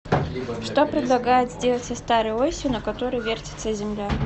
что предлагают сделать со старой осью на которой вертится земля